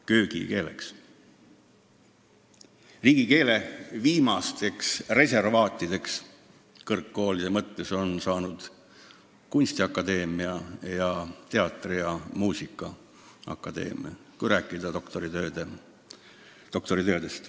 Kõrgkoolidest on riigikeele viimasteks reservaatideks saanud kunstiakadeemia ning teatri- ja muusikaakadeemia, kui silmas pidada doktoritöid.